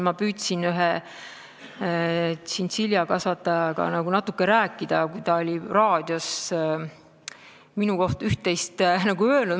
Ma püüdsin ühe tšintšiljakasvatajaga natuke rääkida, kui ta oli raadios minu kohta üht-teist öelnud.